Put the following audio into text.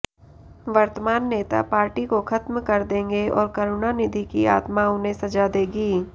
वर्तमान नेता पार्टी को खत्म कर देंगे और करुणानिधि की आत्मा उन्हें सजा देगी